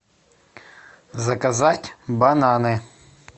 заказать бананы